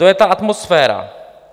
To je ta atmosféra.